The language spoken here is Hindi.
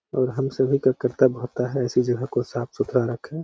और हम सभी का कर्त्तव्य होता है ऐसी जगह को साफ-सुथरा रखें।